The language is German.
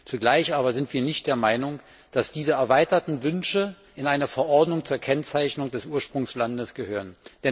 Zugleich aber sind wir nicht der Meinung, dass diese erweiterten Wünsche in eine Verordnung zur Kennzeichnung des Ursprungslandes gehören.